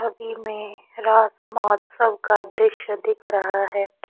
तस्वीर में रात महोत्सव का दृश्य दिख रहा है।